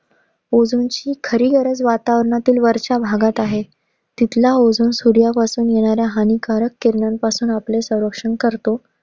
Ozone ची खरी गरज वातावरणातील वरच्या भागात आहे. तिथला ozone सूर्यापासून येणाऱ्या हानिकारक किरणं पासून सरक्षण करतो.